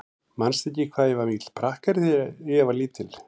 Manstu ekki hvað ég var mikill prakkari þegar ég var lítil?